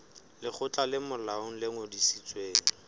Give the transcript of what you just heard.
lekgotla le molaong le ngodisitsweng